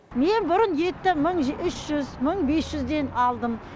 мен бұрын етті мың үш жүз мың бес жүзден алдым